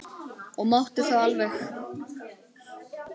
Og mátti það alveg.